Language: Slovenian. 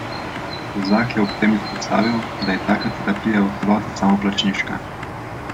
Kozak je ob tem izpostavil, da je taka terapija v celoti samoplačniška.